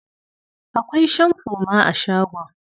Akwai shamfo ma a shagon.